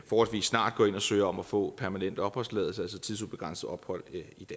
snart går ind og søger om at få permanent opholdstilladelse altså tidsubegrænset ophold